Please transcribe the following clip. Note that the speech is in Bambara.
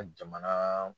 Ka jamana